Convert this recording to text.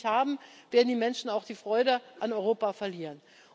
Wenn wir die nicht haben, werden die Menschen auch die Freude an Europa verlieren.